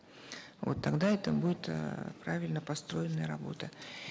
вот тогда это будет эээ правильно построенная работа